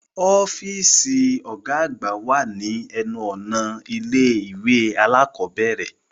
Ọfiisi ọgá àgbà wá ni ẹnu-ọna ilé-ìwé alakọ̀bẹrẹ